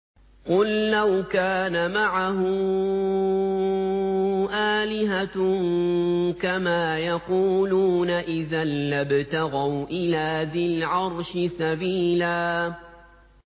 قُل لَّوْ كَانَ مَعَهُ آلِهَةٌ كَمَا يَقُولُونَ إِذًا لَّابْتَغَوْا إِلَىٰ ذِي الْعَرْشِ سَبِيلًا